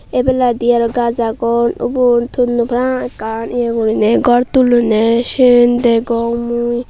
ebeladi aro gaj agon ubon tonnoi para pang ekkan eya gori naye gor tullone ciyan degong mui.